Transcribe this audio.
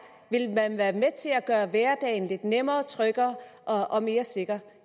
vil man være med til at gøre hverdagen lidt nemmere tryggere og og mere sikker